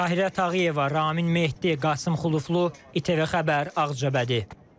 Tahirə Tağıyeva, Ramin Mehdi, Qasım Xuluflu, İTV Xəbər, Ağcabədi.